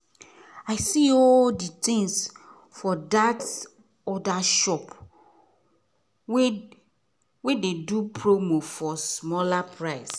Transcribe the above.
i see all these things for that other shop wen dey do promo for smaller price